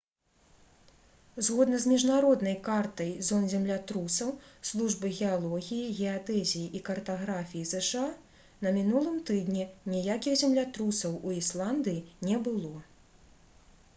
згодна з міжнароднай картай зон землятрусаў службы геалогіі геадэзіі і картаграфіі зша на мінулым тыдні ніякіх землятрусаў у ісландыі не было